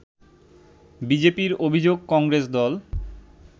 বিজেপির অভিযোগ কংগ্রেস দল